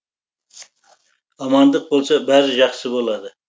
амандық болса бәрі жақсы болады